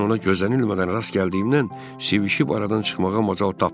Mən ona gözənilmədən rast gəldiyimdən sivisişib aradan çıxmağa macal tapmadım.